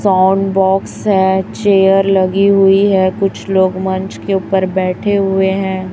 Sound box हैं chair लगी हुई है कुछ लोग मंच के ऊपर बैठे हुए हैं।